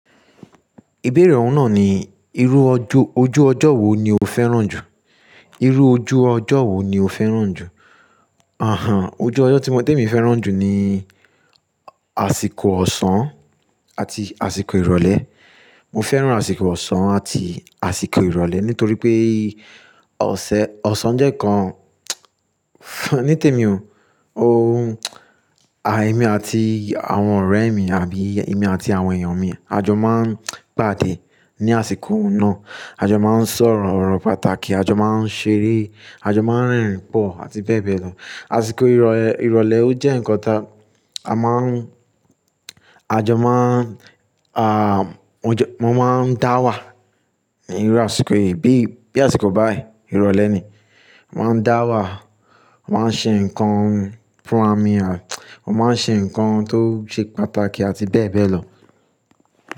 Ìbéèrè ọ̀hún náà ni, irú ojú, ojú ọjọ́ wo ni o fẹ́ràn jù? Irú ojú ọjọ́ wo ni o fẹ́ràn jù? Àhán, ojú ọjọ́ tí mo, té mi fẹ́ràn jù ni, àsìkò ọ̀sán àti àsìkò ìrọ̀lẹ́. Mo fẹ́ràn àsìkò ọ̀sán àti àsìkò ìrọ̀lẹ́ nítorí pé ọ̀sẹ̀, ọ̀sán jẹ́ nkán, ní tèmi o, o, àì èmi àti àwọn ọ̀rẹ́ mi àbí èmi àti àwọn èèyàn mi a jọ máa ń pàdé ní àsìkò náà. A jọ máa ń sọ̀rọ̀ ọ̀rọ̀ pàtàkì, a jọ máa ń ṣeré, a jọ máa ń rìn pọ̀ àti bẹ́ẹ̀ bẹ́ẹ̀ lọ. Àsìkò ìrọ̀lẹ́, ìrọ̀lẹ́ ó jẹ́ nkán ta a máa ń, a jọ máa ń, à, wọ́n jọ, wọ́n máa ń dáwà ní irú àsìkò yìí bí, bí àsìkò báyìí, ìrọ̀lẹ́ ni. Mo máa ń dáwà, mo máa ń ṣe nǹkan fún ràmì àt-- ọ́ máa ń ṣe ǹkan tó ṣe pàtàkì àti bẹ́ẹ̀ bẹ́ẹ̀ lọ.